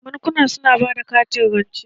Bankuna su na bada katin rance.